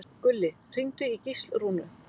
Gulli, hringdu í Gíslrúnu.